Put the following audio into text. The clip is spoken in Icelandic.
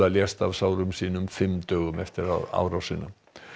lést af sárum sínum fimm dögum eftir árásina